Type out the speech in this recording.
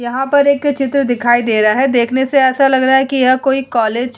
यहाँ पर एक चित्र दिखाई दे रहा है देखने से ऐसा लग रहा है कि यह कोई कॉलेज --